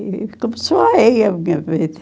E começou aí a minha vida.